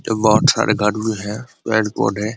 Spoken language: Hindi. यह बहुत सारे कार्टून है रेनकोट है।